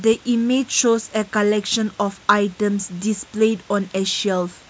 The image shows a collection of item display on a shelf.